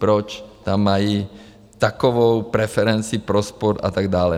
Proč tam mají takovou preferenci pro sport a tak dále?